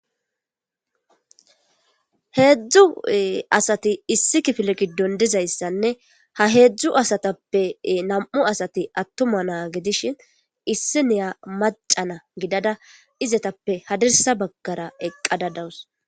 Heedzdzu asati issi kifile giddon dizayssanne ha heedzdzu asatappe nam'u asati attuma naa gidishin issi niya macana gidada izetappe hadirsa baggara eqqada dawus.